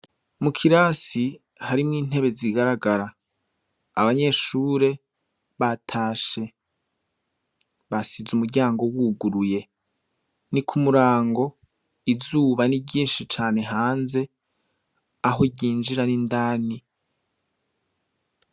Mu kirasi, harimwo intebe zigaragara. Abanyeshure batashe, basize umuryango wuguruye. Ni ku murango, izuba ni ryinshi cane hanze, aho ryinjira n'indani.